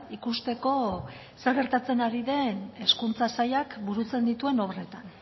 ikusteko zer gertatzen ari den hezkuntza sailak burutzen dituen obretan